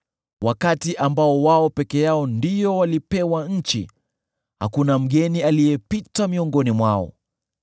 (wakati ambao wao peke yao ndio walipewa nchi, hakuna mgeni aliyepita miongoni mwao):